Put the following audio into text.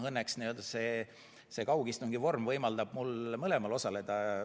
Õnneks kaugistungi vorm võimaldab mul mõlemal osaleda.